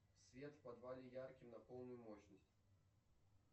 свет в подвале яркий на полную мощность